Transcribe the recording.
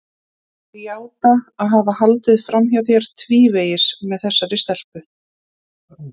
Ég játa að hafa haldið fram hjá þér tvívegis með þessari stelpu.